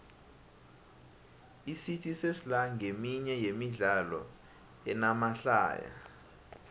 icity sesla nqeminye yemidlalo enamahlaya